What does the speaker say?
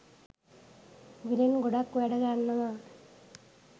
විලෙන් ගොඩක් වැඩ ගන්නවා.